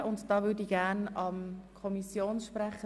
Ich gebe das Wort zuerst dem Kommissionssprecher.